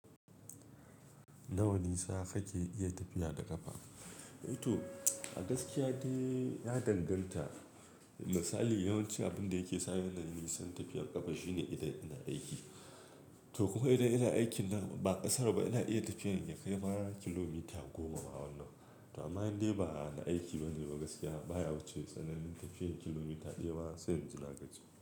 Nawa nisa kake iya tafiya da ƙafa? To a gaskiya dai ya danganta. Misali yawanci abinda yake sani nayi nisan tafiyar ƙafa shine idan ina aiki. To kuma idan ina aikinnan ba ƙasarba ina iya tafiyar ya kai har kilomita goma ma wannan. To amma indai bana aiki bane ba gaskiya baya wuce tsananin tafiyar kilomita daya ba sai inji nagaji.